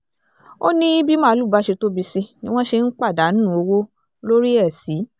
ó ní bí màálùú bá ṣe tóbi sí ni wọ́n ṣe ń pàdánù owó lórí ẹ̀ sí